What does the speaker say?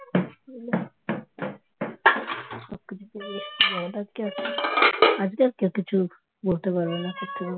আজকে আর আজকে আর কেউ কিছু বলতে পারবে না করতে পারবেনা